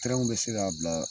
Tɛrɛw bɛ se k'a bila